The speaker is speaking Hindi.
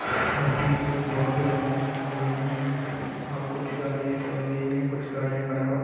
और बीच में बहुत बड़े एक लाईट लगे हुए हैं और कुछ गाड़ियां चल रही है और कुछ खड़ा हो--